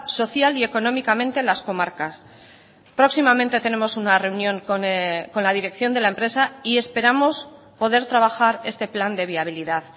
social y económicamente las comarcas próximamente tenemos una reunión con la dirección de la empresa y esperamos poder trabajar este plan de viabilidad